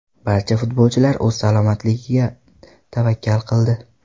Barcha futbolchilar o‘z salomatligiga tavakkal qildi.